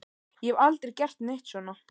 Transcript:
Ég hef aldrei gert neitt svona.